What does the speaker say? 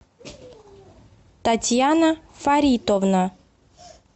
татьяна фаритовна